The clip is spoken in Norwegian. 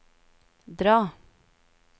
dra